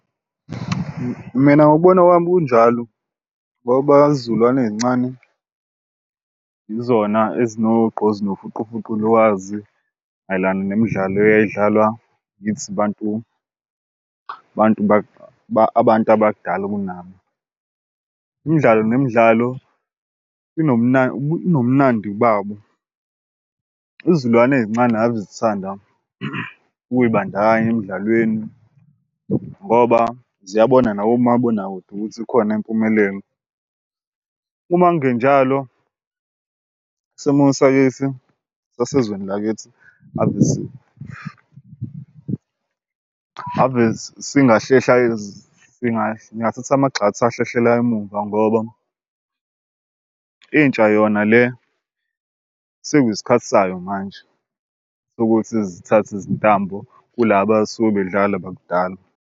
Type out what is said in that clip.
Mina ngokubona kwami kunjalo, ngoba izizukulwane ezincane yizona ezinogqozi nofuqufuqu lwazi mayelana nemidlalo eyayidlalwa yithi bantu bantu abantu abadala kunabo. Imidlalo nemidlalo inomnandi babo. Izilwane ey'ncane ave zithanda ukuyibandakanya emdlalweni ngoba ziyabona nakomabonakude ukuthi ikhona impumelelo. Uma kungenjalo isimo sakithi sasezweni lakithi ave singathatha amagxathu ahlehlela emuva ngoba intsha yona le sekuyisikhathi sayo manje sokuthi zithathe izintambo kula abasuke bedlala bakudala.